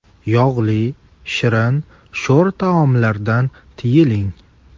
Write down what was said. Yog‘li, shirin, sho‘r taomlardan tiyiling.